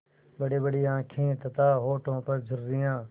बड़ीबड़ी आँखें तथा होठों पर झुर्रियाँ